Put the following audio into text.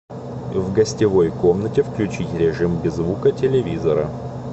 в гостевой комнате включить режим без звука телевизора